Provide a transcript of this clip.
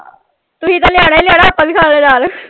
ਤੁਸੀ ਤਾਂ ਲਿਆਉਣਾ ਹੀ ਲਿਆਉਣਾ ਆਪਾਂ ਵੀ ਖਾਣੇ ਨਾਲ।